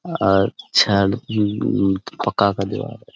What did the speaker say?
और छद अम अ पक्का का दीवार है| ।